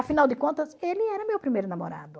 Afinal de contas, ele era meu primeiro namorado.